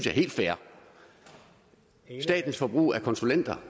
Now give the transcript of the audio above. helt fair statens forbrug af konsulenter